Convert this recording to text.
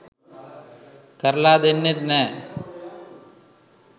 කරලා දෙන්නෙත් නෑ.